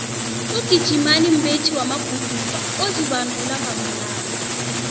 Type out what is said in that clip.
ugijimani mbethi maguduva ozibandula ngamalanga